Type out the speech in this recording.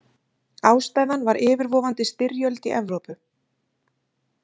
Ástæðan var yfirvofandi styrjöld í Evrópu.